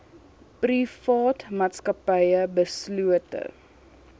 private maatskappye beslote